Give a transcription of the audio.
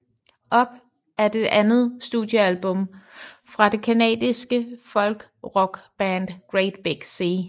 Up er det andet studiealbum fra det canadiske folkrockband Great Big Sea